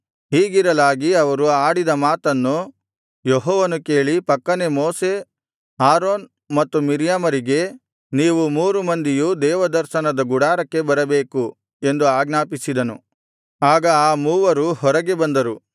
ಹೀಗಿರಲಾಗಿ ಅವರು ಆಡಿದ ಮಾತನ್ನು ಯೆಹೋವನು ಕೇಳಿ ಫಕ್ಕನೆ ಮೋಶೆ ಆರೋನ್ ಮತ್ತು ಮಿರ್ಯಾಮರಿಗೆ ನೀವು ಮೂರು ಮಂದಿಯೂ ದೇವದರ್ಶನದ ಗುಡಾರಕ್ಕೆ ಬರಬೇಕು ಎಂದು ಆಜ್ಞಾಪಿಸಿದನು ಆಗ ಆ ಮೂವರು ಹೊರಗೆ ಬಂದರು